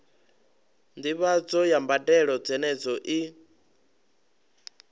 ndivhadzo ya mbadelo dzenedzo i